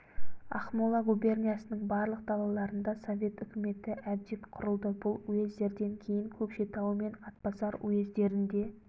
ақмола губерниясының барлық далаларында совет үкіметі әбден құрылды бұл уездерден кейін көкшетау мен атбасар уездерін де